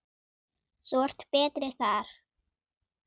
Þú ert betri þar.